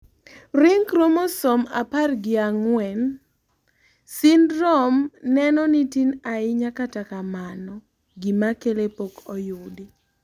ring chromososme apar gi ang'wen syndrome neno ni tin ahinya kata kamano, gima kele pok oyudi